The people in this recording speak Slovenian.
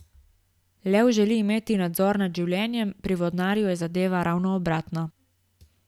Lev želi imeti nadzor nad življenjem, pri vodnarju je zadeva ravno obratna.